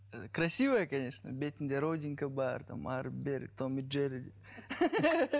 ы красивая конечно бетінде родинка бар там әрі бері том и джерри